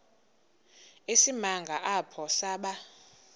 isimanga apho saba